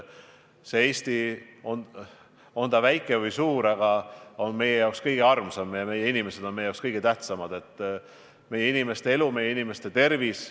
Eesti, on ta väike või suur, on meie jaoks kõige armsam ja meie inimesed on meie jaoks kõige tähtsamad – meie inimeste elu, meie inimeste tervis.